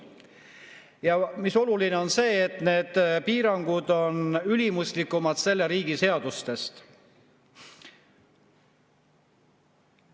Ja oluline on see, et need piirangud on ülimuslikumad selle riigi seadustest.